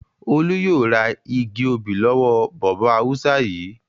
Olú yóò ra igi obì lọ́wọ́ bọ̀bọ́ Haúsá yìí!